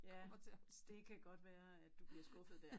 Ja det kan godt være at du bliver skuffet dér